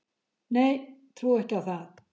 Nei, trúi ekki á það